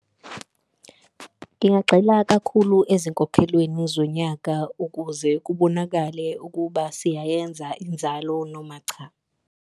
Ngingagxila kakhulu ezinkolweni zonyaka ukuze kubonakale ukuba siyayenza inzalo noma cha.